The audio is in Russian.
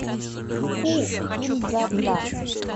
ку кин дза дза